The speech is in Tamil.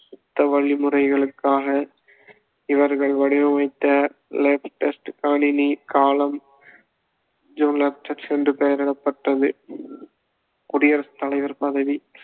சுத்த வழிமுறைகளுக்காக இவர்கள் வடிவமைத்த latest கணினி கலாம் என்று பெயரிடப்பட்டது குடியரசுத் தலைவர் பதவி